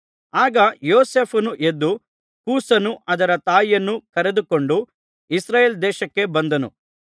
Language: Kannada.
ಆಗ ಯೋಸೇಫನು ಎದ್ದು ಕೂಸನ್ನೂ ಅದರ ತಾಯಿಯನ್ನೂ ಕರೆದುಕೊಂಡು ಇಸ್ರಾಯೇಲ್ ದೇಶಕ್ಕೆ ಬಂದನು